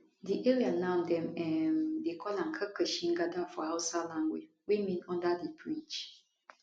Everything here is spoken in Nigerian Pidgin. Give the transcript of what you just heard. di area now dem um dey call am karkashin gada for hausa language wey mean under di bridge